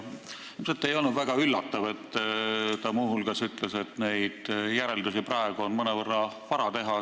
Ilmselt ei olnud väga üllatav see, et ta muu hulgas ütles, et järeldusi on praegu mõnevõrra vara teha.